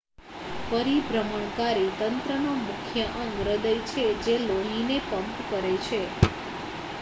પરિભ્રમણકારી તંત્રનો મુખ્ય અંગ હૃદય છે જે લોહીને પંપ કરે છે